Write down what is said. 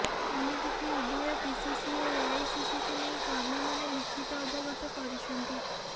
ଏମିତିକି ଉଭୟ ପିସିସି ଓ ଏଆଇସିସିକୁ ନେଇ କର୍ମୀମାନେ ଲିଖିତ ଅବଗତ କରିଛନ୍ତି